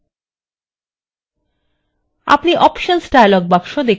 আপনি options dialog box দেখতে পাচ্ছেন